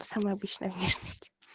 самая обычная внешность